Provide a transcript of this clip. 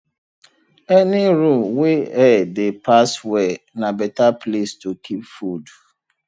any room wey air dey pass well na better place to keep food